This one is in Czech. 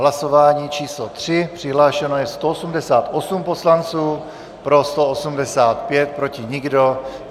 Hlasování číslo 3, přihlášeno je 188 poslanců, pro 185, proti nikdo.